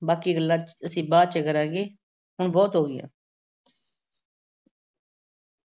ਬਾਕੀ ਗੱਲਾਂ ਅਸੀਂ ਬਾਅਦ ਚ ਕਰਾਂਗੇ, ਹੁਣ ਬਹੁਤ ਹੋ ਗਈਆਂ।